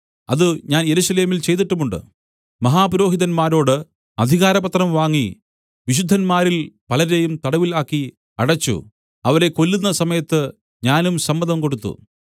അത് ഞാൻ യെരൂശലേമിൽ ചെയ്തിട്ടുമുണ്ട് മഹാപുരോഹിതന്മാരോട് അധികാരപത്രം വാങ്ങി വിശുദ്ധന്മാരിൽ പലരെയും തടവിൽ ആക്കി അടച്ചു അവരെ കൊല്ലുന്ന സമയത്ത് ഞാനും സമ്മതം കൊടുത്തു